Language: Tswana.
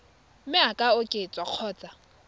mme e ka oketswa kgotsa